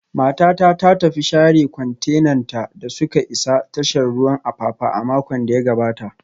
Matata ta tafi share kwantenanta da suka isa tashar ruwan Apapa a makon da ya gabata